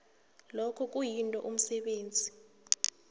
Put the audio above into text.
lokhu kuyinto umsebenzi